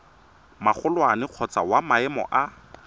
magolwane kgotsa wa maemo a